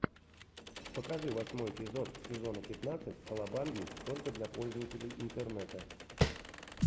покажи восьмой эпизод сезона пятнадцать калабанги только для пользователей интернета